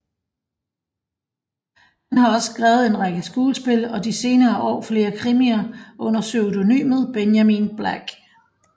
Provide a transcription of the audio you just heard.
Han har også skrevet en række skuespil og de senere år flere krimier under pseudonymet Benjamin Black